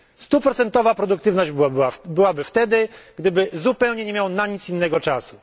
Stuprocentowa produktywność byłaby wtedy, gdyby zupełnie nie miał na nic innego czasu.